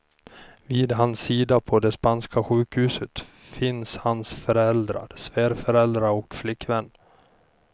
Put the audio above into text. Vid hans sida på det spanska sjukhuset finns hans föräldrar, svärföräldrar och flickvän.